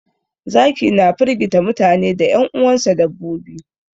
Zaki na firgita mutane da 'yan uwansa dabbobi.